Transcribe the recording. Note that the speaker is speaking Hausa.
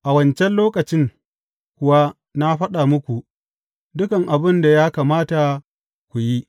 A wancan lokacin kuwa na faɗa muku dukan abin da ya kamata ku yi.